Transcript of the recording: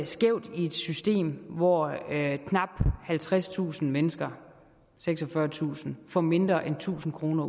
skævt i et system hvor knap halvtredstusind mennesker seksogfyrretusind får mindre end tusind kroner